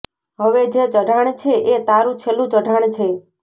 હવે જે ચઢાણ છે એ તારું છેલ્લું ચઢાણ છે